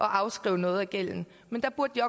afskrive noget af gælden men der burde de